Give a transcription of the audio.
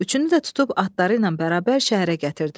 Üçünü də tutub atlarıyla bərabər şəhərə gətirdilər.